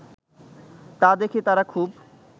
তা দেখে তারা খুব